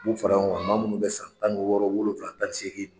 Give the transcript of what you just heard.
B'u fara ɲɔgɔn kan maa munnu be san tan ni wɔɔrɔ wolowula kan ni segin